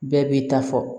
Bɛɛ b'i ta fɔ